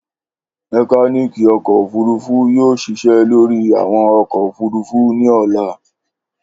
Mekaniki ọkọ ofurufu yoo ṣiṣẹ lori awọn ọkọ ofurufu ni ọla.